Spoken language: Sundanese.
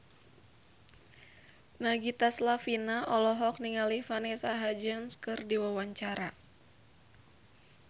Nagita Slavina olohok ningali Vanessa Hudgens keur diwawancara